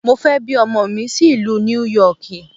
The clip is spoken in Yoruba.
Mo fẹ́ bí ọmọ mi sí ìlú Níú Yọkìì.